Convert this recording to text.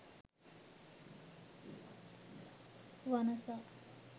wanasa